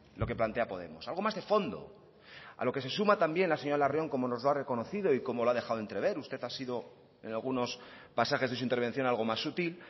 lo que plantea podemos algo más de fondo a lo que se suma también la señora larrion como nos lo ha reconocido y como lo ha dejado entrever usted ha sido en algunos pasajes de su intervención algo más sutil